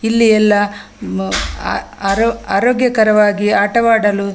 ಇಲ್ಲಿ ಎಲ್ಲ ಮ್ ಆ ಆ ಆರೋ ಆರೋಗ್ಯಕರವಾಗಿ ಆಟವಾಡಲು --